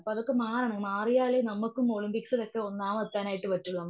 അപ്പൊ അതൊക്കെ മാറണം മാറിയാലേ നമ്മക്കും ഒളിമ്പിക്സിലൊക്കെ ഒന്നാമതെത്താനായിട്ട് പറ്റുവൊള്ളൂ.